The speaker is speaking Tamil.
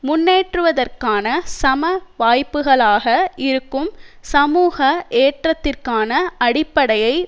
முன்னேற்றுவதற்கான சம வாய்ப்புக்களாக இருக்கும் சமூக ஏற்றத்திற்கான அடிப்படையை